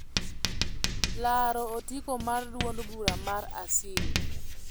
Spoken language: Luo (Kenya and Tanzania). laro otiko mar duond bura mar Asili